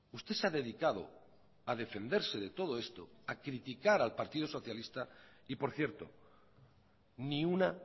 usted se ha dedicado a defenderse de todo esto a criticar al partido socialista y por cierto ni una